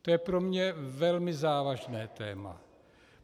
To je pro mě velmi závažné téma.